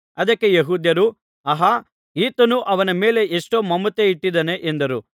ಅದಕ್ಕೆ ಯೆಹೂದ್ಯರು ಆಹಾ ಈತನು ಅವನ ಮೇಲೆ ಎಷ್ಟೋ ಮಮತೆ ಇಟ್ಟಿದ್ದಾನೆ ಎಂದರು